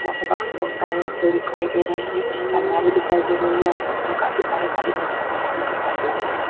यहाँ पे बक्से बहोत सारे रखे हुए दिखाई दे रहें हैं। आलमारी दिखाई दे रही है। आलमारी मे काफी सारे खाली दिखाई दे रहें हैं।